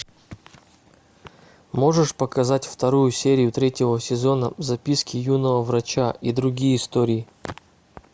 можешь показать вторую серию третьего сезона записки юного врача и другие истории